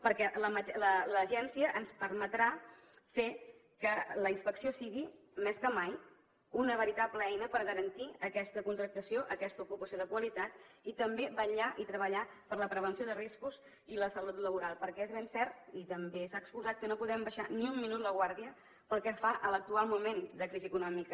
perquè l’agència ens permetrà fer que la inspecció sigui més que mai una veritable eina per garantir aquesta contractació aquesta ocupació de qualitat i també vetllar i treballar per la prevenció de riscos i la salut laboral perquè és ben cert i també s’ha exposat que no podem abaixar ni un minut la guàrdia pel que fa a l’actual moment de crisi econòmica